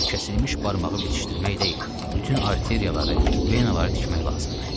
Bu kəsilmiş barmağı bitişdirmək deyil, bütün arteriyaları, venaları tikmək lazımdır.